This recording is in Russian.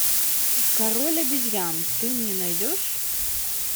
король обезьян ты мне найдешь